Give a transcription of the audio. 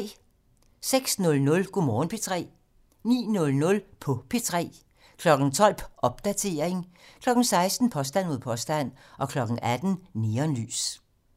06:00: Go' Morgen P3 09:00: På P3 12:00: Popdatering 16:00: Påstand mod påstand 18:00: Neonlys